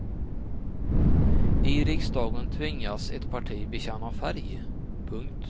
I riksdagen tvingas ett parti bekänna färg. punkt